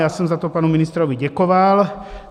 Já jsem za to panu ministrovi děkoval.